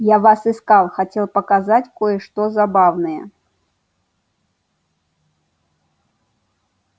я вас искал хотел показать кое-что забавное